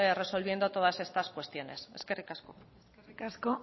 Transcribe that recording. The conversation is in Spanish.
resolviendo todas estas cuestiones eskerrik asko eskerrik asko